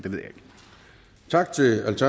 ved